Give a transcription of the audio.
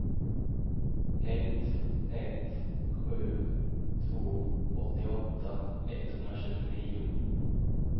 ett ett sju två åttioåtta etthundratjugonio